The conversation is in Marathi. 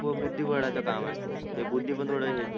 बुद्धिबडाच काम आय आहे ते बुद्धी पण थोडा हेच हे